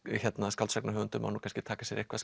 en skáldsagnahöfundur má nú kannski taka sér eitthvað